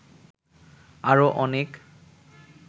আরো অনেক